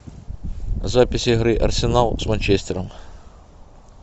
запись игры арсенал с манчестером